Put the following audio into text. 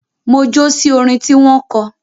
Mo jó sí orin tí wọ́n kọ